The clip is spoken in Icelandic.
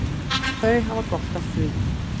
Þau hafa gott af því.